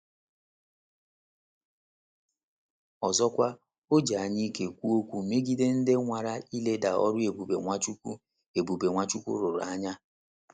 Ọzọkwa, o ji anyaike kwuo okwu megide ndị nwara ileda ọrụ ebube Nwachukwu ebube Nwachukwu rụrụ anya.